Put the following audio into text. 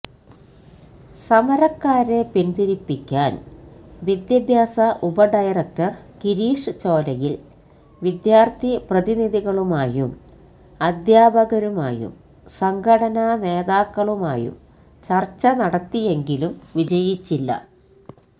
സമരക്കാരെ പിന്തിരിപ്പിക്കാന് വിദ്യാഭ്യാസ ഉപ ഡയരക്ടര് ഗിരീഷ് ചോലയില് വിദ്യാര്ഥി പ്രതിനിധികളുമായും അധ്യാപകരുമായും സംഘടനാ നേതാക്കളുമായും ചര്ച്ച നടത്തിയെങ്കിലും വിജയിച്ചില്ല